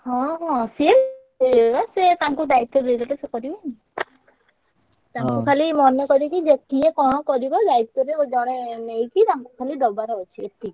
ହଁ ହଁ ସିଏ ଏ ସେ ତାଙ୍କୁ ଦାୟିତ୍ବ ଦେଇଦେଲେ ସେ କରିବେନି। ତାଙ୍କୁ ଖାଲି ମନେ କରିକି ଯେ କିଏ କଣ କରିବ ଦାୟିତ୍ଵ ରେ ଜଣେ ~ନେଇ ~କି ତାଙ୍କୁ ଖାଲି ଦବାର ଅଛି ଏତିକି।